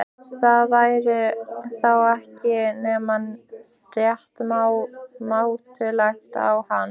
Það væri þá ekki nema rétt mátulegt á hann.